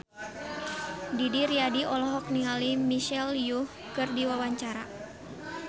Didi Riyadi olohok ningali Michelle Yeoh keur diwawancara